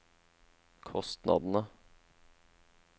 kostnadene